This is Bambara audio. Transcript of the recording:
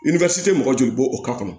tɛ mɔgɔ joli bɔ o ka kɔnɔ